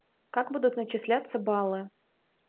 как будут начисляться баллы